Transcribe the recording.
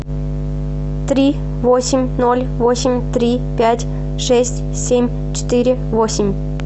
три восемь ноль восемь три пять шесть семь четыре восемь